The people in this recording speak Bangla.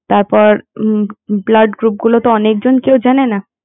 তারপর blood group গুলো তো অনেক জনই জানে না